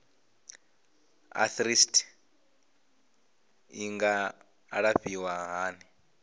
arthritis i nga alafhiwa hani